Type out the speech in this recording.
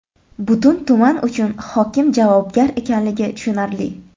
Butun tuman uchun hokim javobgar ekanligi tushunarli.